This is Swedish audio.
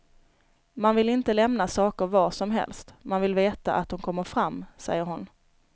Man vill inte lämna saker var som helst, man vill veta att det kommer fram, säger hon.